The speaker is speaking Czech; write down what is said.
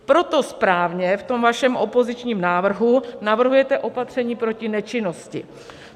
Proto správně v tom vašem opozičním návrhu navrhujete opatření proti nečinnosti.